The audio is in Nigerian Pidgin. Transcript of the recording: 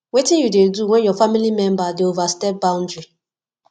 wetin you dey do when your family member dey overstep boundary